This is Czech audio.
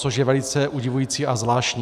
Což je velice udivující a zvláštní.